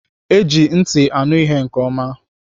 Eji ntị anụ ihe nke oma